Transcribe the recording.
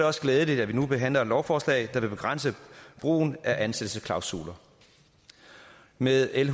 også glædeligt at vi nu behandler et lovforslag der vil begrænse brugen af ansættelsesklausuler med l